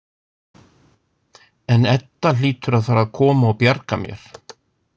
En Edda hlýtur að fara að koma og bjarga mér.